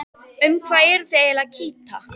Um hvað eruð þið eiginlega að kýta?